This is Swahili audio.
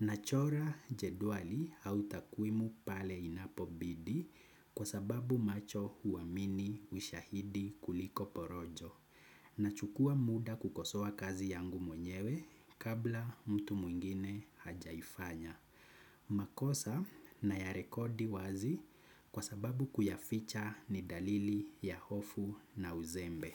Nachora jedwali au takwimu pale inapobidi kwa sababu macho huamini ushahidi kuliko porojo na chukua muda kukosoa kazi yangu mwenyewe kabla mtu mwingine hajaifanya. Makosa nayarekodi wazi kwa sababu kuyaficha ni dalili ya hofu na uzembe.